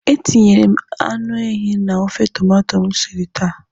Etinyere m anụ ehi na ofe tomato m siri taa.